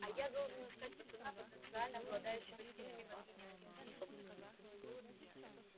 а я должен искать пацана потенциально обладающего сильными магическими способностями